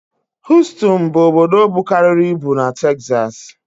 Hostoni bụ obodo bukarịrị ibu na Texas